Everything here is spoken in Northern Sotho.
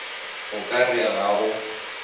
o ka re ga o